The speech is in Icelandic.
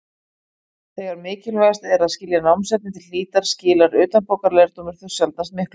Þegar mikilvægast er að skilja námsefnið til hlítar skilar utanbókarlærdómur þó sjaldnast miklu.